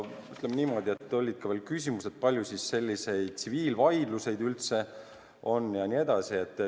Oli ka küsimusi selle kohta, kui palju selliseid tsiviilvaidlusi üldse on.